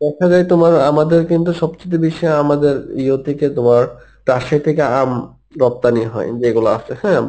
দেখা যায় তোমার আমাদের কিন্তু সব চাইতে বেশি আমাদের ইয়োর দিকে তোমার রাজশাহী থেকে আম রপ্তানি হয় যেগুলো আছে হ্যাঁ